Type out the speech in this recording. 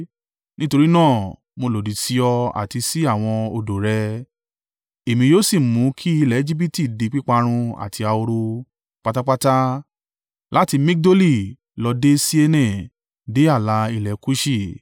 nítorí náà, mo lòdì sí ọ àti sí àwọn odò rẹ, èmi yóò sì mú kí ilẹ̀ Ejibiti di píparun àti ahoro, pátápátá, láti Migdoli lọ dé Siene, dé ààlà ilẹ̀ Kuṣi.